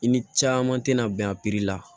I ni caman tɛna bɛn a la